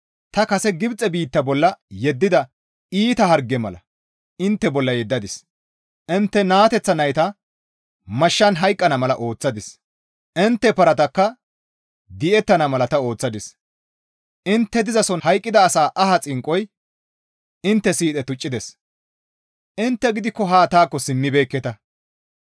«Ta kase Gibxe biitta bolla yeddida iita hargeza mala harge intte bolla yeddadis; intte naateththa nayta mashshan hayqqana mala ooththadis; intte paratakka di7ettana mala ta ooththadis; intte dizason hayqqida asa aha xinqqoy intte siidhe tuccides; intte gidikko haa taakko simmibeekketa.